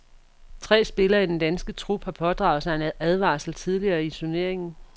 Tre spillere i den danske trup har pådraget sig en advarsel tidligere i turneringen.